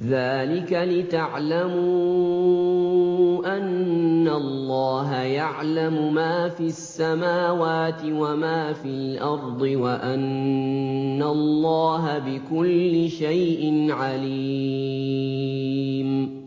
ذَٰلِكَ لِتَعْلَمُوا أَنَّ اللَّهَ يَعْلَمُ مَا فِي السَّمَاوَاتِ وَمَا فِي الْأَرْضِ وَأَنَّ اللَّهَ بِكُلِّ شَيْءٍ عَلِيمٌ